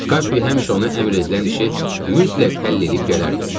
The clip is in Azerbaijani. Kapi həmişə ona əmr edilən işi mütləq həll eləyib gələrdi.